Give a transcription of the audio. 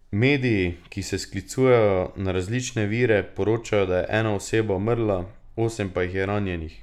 Mediji, ki se sklicujejo na različne vire, poročajo, da je ena oseba umrla, osem pa jih je ranjenih.